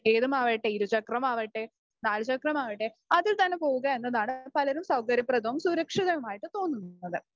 ഏതുമാകട്ടെ, ഇരുചക്രമാകട്ടെ നാലുചക്രമാകട്ടെ അതിൽ തന്നെ പോകുക എന്നുതാണ് പലരും സൌകര്യപ്രദവും സുരക്ഷിതവുമായിട്ട് തോന്നുന്നത്